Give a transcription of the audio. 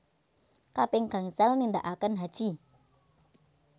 Kaping gangsal nindaaken haji